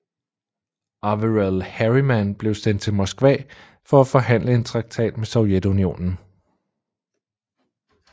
Averell Harriman blev sendt til Moskva for at forhandle en traktat med Sovjetunionen